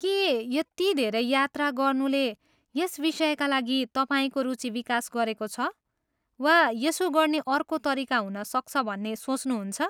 के यति धेरै यात्रा गर्नुले यस विषयका लागि तपाईँको रुचि विकास गरेको छ वा यसो गर्ने अर्को तरिका हुन सक्छ भन्ने सोच्नुहुन्छ?